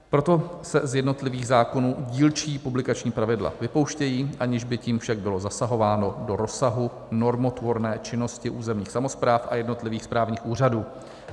Proto se z jednotlivých zákonů dílčí publikační pravidla vypouštějí, aniž by tím však bylo zasahováno do rozsahu normotvorné činnosti územních samospráv a jednotlivých právních úřadů.